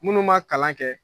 Minnu m'a kalan kɛ